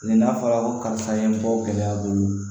Nin n'a fɔra ko karisa ye bɔ gɛlɛya bolo